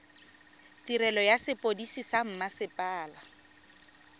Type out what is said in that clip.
tirelo ya sepodisi sa mmasepala